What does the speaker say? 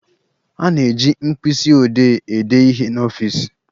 A na-eji mkpisiodee ede ihe n'ọfịs.